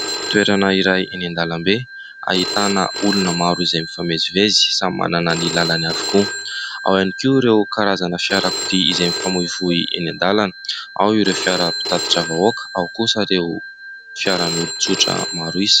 Toerana iray eny an-dalambe, ahitana olona maro izay mifamezivezy, samy manana ny làlany avokoa, ao ihany koa ireo karazana fiara-kodia izay mifamoivoy eny an-dàlana : ao ireo fiara mpitatitra vahoaka, ao kosa ireo fiaran'olon-tsotra maro isa.